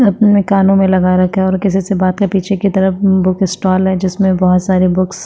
अपने कानो में लगा रखा है और किसीसे बाते पीछे की तरफ बुक स्टाल है जिसमे बहुत सारे बुक्स --